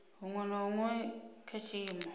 huṅwe na huṅwe kha tshiimo